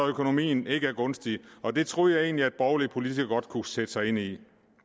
økonomien ikke er gunstig og det troede jeg egentlig borgerlige politikere godt kunne sætte sig ind i